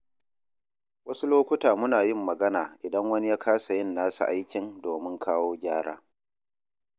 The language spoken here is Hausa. Wasu lokuta muna yin magana idan wani ya kasa yin nasa aikin domin kawo gyara.